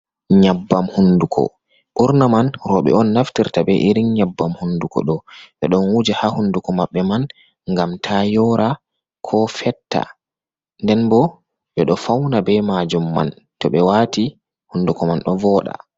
Nyabbam hunduko, ɓurna man roɓe on naftirta be irin nyabbam hunduko ɗo, ɓe ɗon wuja ha hunduko maɓɓe man ngam ta yoora, ko fetta, nden bo ɓe ɗo fauna be majum man, to ɓe waati hunduko man ɗo vooɗa.